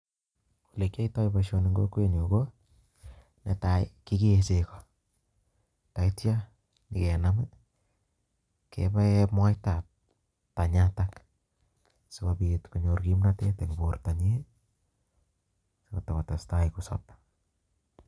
Ele kiyoitoi boishoni en kokwenyun konetai kekee chegoo, kigee chekoo yeityoo ibakenam kebaen moita tanyatoo sikobiit konyor kimnotet en bortoonyin sikotakotestai kosoob